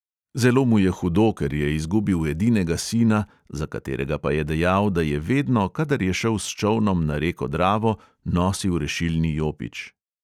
Zelo mu je hudo, ker je izgubil edinega sina, za katerega pa je dejal, da je vedno, kadar je šel s čolnom na reko dravo, nosil rešilni jopič.